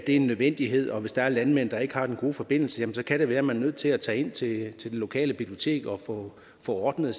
en nødvendighed og at hvis der er landmænd der ikke har den gode forbindelse kan det være at man er nødt til at tage ind til det lokale bibliotek og få ordnet